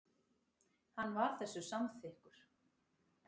Hann var þessu samþykkur.